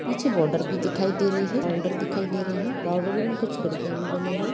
पीछे बॉर्डर भी दिखाई दे रही है बाउंड्री दिखाई दे रही है बाउंड्री में कुछ खिड़कियाँ भी बनी हुई है।